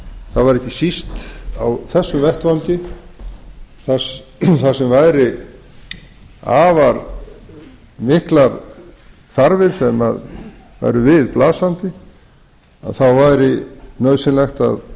það væri ekki síst á þessum vettvangi þar sem væru afar miklar þarfir sem væru við blasandi þá væri nauðsynlegt að